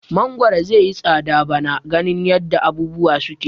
Mangoro zaiyi tsada bana ganin yadda abubuwa suke.